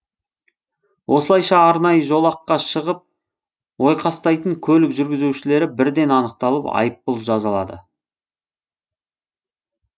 осылайша арнайы жолаққа шығып ойқастайтын көлік жүргізушілері бірден анықталып айыппұл жазылады